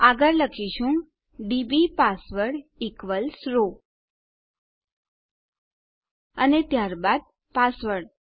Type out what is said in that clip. આગળ આપણે લખીશું ડીબી પાસવર્ડ ઇક્વલ્સ રો અને ત્યારબાદ આપણો પાસવર્ડ